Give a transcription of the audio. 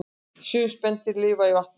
Sum spendýr lifa í vatni